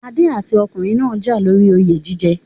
Adé àti ọkùnrin náà jà lóri oyè jíjẹ